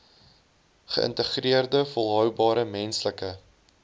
geïntegreerde volhoubare menslike